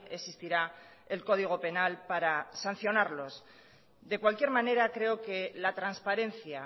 existirá el código penal para sancionarlos de cualquier manera creo que la transparencia